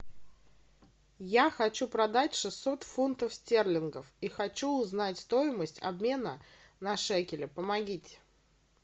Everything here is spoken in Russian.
я хочу продать шестьсот фунтов стерлингов и хочу узнать стоимость обмена на шекели помогите